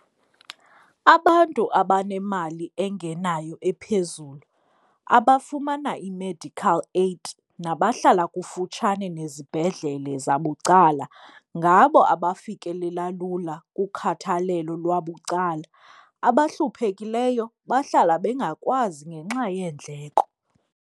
Abantu abanemali engenayo ephezulu abafumana i-medical aid nabahlala kufutshane nezibhedlele zabucala ngabo abafikelela lula kukhathalelo lwabucala. Abahluphekileyo bahlala bengakwazi ngenxa yeendleko.